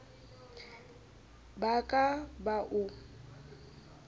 ba a ka ba o